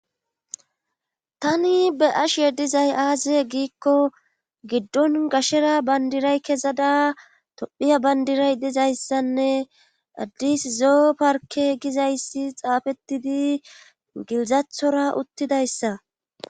Tani be'ashe dizay aaze giikko giddon gashshera bandiray kezada tophphiya bandiray dizayssanne addis zoo parke gizayssi xaafettidi gilzassora uttidayssa